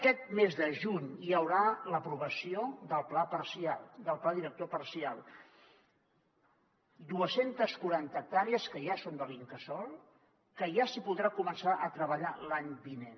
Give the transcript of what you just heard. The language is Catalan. aquest mes de juny hi haurà l’aprovació del pla parcial del pla director parcial dos cents i quaranta hectàrees que ja són de l’incasòl que ja s’hi podrà començar a treballar l’any vinent